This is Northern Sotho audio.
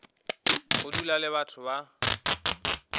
go dula le batho ba